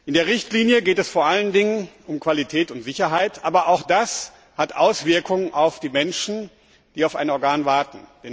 In der Richtlinie geht es vor allen Dingen um Qualität und Sicherheit, aber auch das hat Auswirkungen auf die Menschen, die auf ein Organ warten.